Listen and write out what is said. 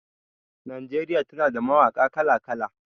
Najeriya tana da mawaƙa kala-kala.